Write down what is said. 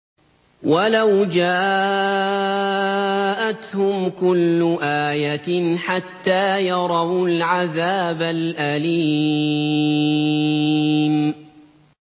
وَلَوْ جَاءَتْهُمْ كُلُّ آيَةٍ حَتَّىٰ يَرَوُا الْعَذَابَ الْأَلِيمَ